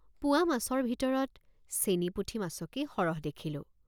পোৱা মাছৰ ভিতৰত চেনিপুঠি মাছকেই সৰহ দেখিলোঁ।